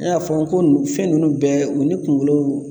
N y'a fɔ n ko ninnu fɛn ninnu bɛɛ u ni kunkolo